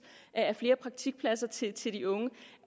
af flere praktikpladser til til de unge